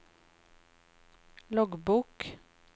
loggbok